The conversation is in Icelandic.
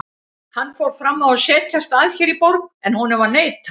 Hann fór fram á að setjast að hér í borg, en honum var neitað.